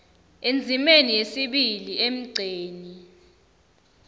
endzimeni yesibili emgceni